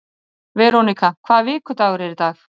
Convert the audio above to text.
Verónika, hvaða vikudagur er í dag?